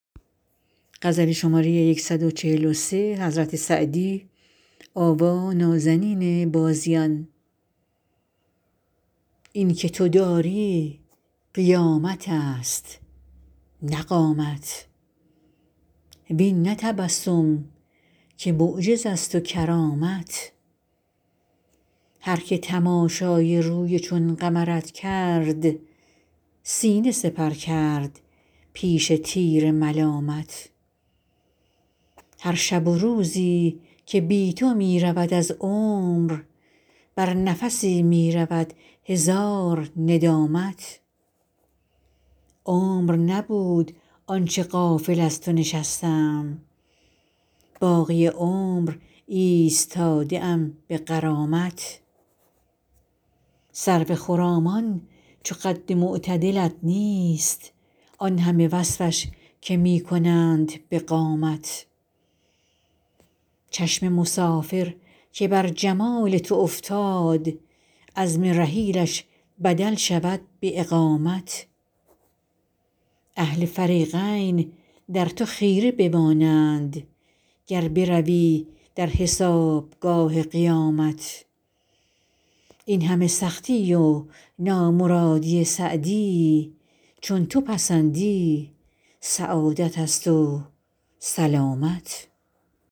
این که تو داری قیامت است نه قامت وین نه تبسم که معجز است و کرامت هر که تماشای روی چون قمرت کرد سینه سپر کرد پیش تیر ملامت هر شب و روزی که بی تو می رود از عمر بر نفسی می رود هزار ندامت عمر نبود آن چه غافل از تو نشستم باقی عمر ایستاده ام به غرامت سرو خرامان چو قد معتدلت نیست آن همه وصفش که می کنند به قامت چشم مسافر که بر جمال تو افتاد عزم رحیلش بدل شود به اقامت اهل فریقین در تو خیره بمانند گر بروی در حسابگاه قیامت این همه سختی و نامرادی سعدی چون تو پسندی سعادت است و سلامت